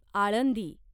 Alandi